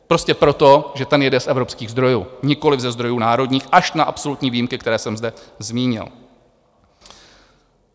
Prostě proto, že ten jede z evropských zdrojů, nikoliv ze zdrojů národních, až na absolutní výjimky, které jsem zde zmínil.